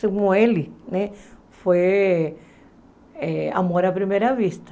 Segundo ele, foi eh amor à primeira vista.